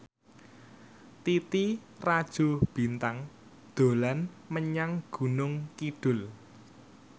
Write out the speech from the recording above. Titi Rajo Bintang dolan menyang Gunung Kidul